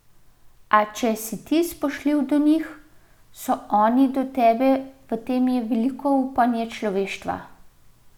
A če si ti spoštljiv do njih, so oni do tebe in v tem je veliko upanje človeštva.